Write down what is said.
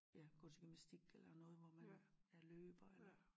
Ja gå til gymnastik eller noget hvor man er løber eller